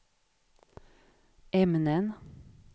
ämnen